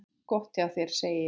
Gott hjá þér, segi ég.